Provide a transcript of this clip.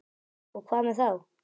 Og hvað með þá?